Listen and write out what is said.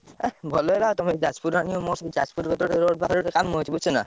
ଯାଜପୁର ରେ ମୋର ଗୋଟେ ସାଙ୍ଗ ଅଛି ବୁଝିଲ ନାଁ।